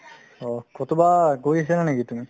অহ্, ক'ৰবাত গৈ আছিলা নেকি তুমি ?